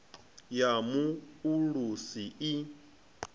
ya mu o ulusi i